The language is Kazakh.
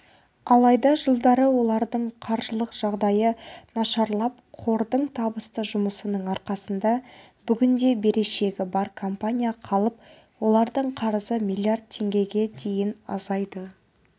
алайда жылдары олардың қаржылық жағдайы нашарлап қордың табысты жұмысының арқасында бүгінде берешегі бар компания қалып олардың қарызы миллиард теңгеге дейін азайды